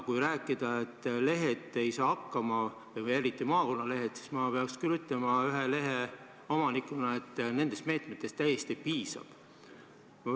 Kui rääkida sellest, et lehed ei saa hakkama, eriti maakonnalehed, siis ma pean küll ütlema ühe lehe omanikuna, et nendest meetmetest täiesti piisab.